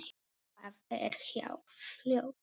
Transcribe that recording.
Það er hjá fljóti.